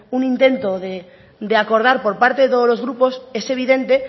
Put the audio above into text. un intento de acordar por parte de todos los grupos es evidente